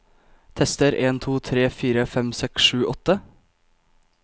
Tester en to tre fire fem seks sju åtte